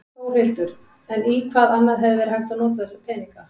Þórhildur: En í hvað annað hefði verið hægt að nota þessa peninga?